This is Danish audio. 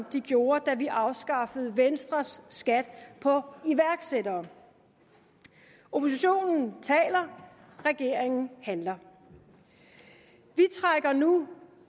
de gjorde da vi afskaffede venstres skat på iværksættere oppositionen taler regeringen handler vi trækker nu